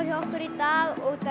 hjá okkur í dag út